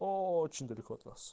очень далеко от нас